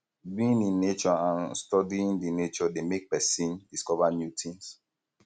being in nature and studying di nature de make make persin discover new things